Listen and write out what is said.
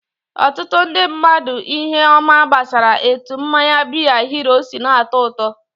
Ọtụtụ ndị mmadụ ihe ọma gbasara etu mmanya biya hero si na-atọ ụtọ.